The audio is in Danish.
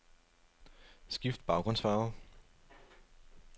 Skift baggrundsfarve.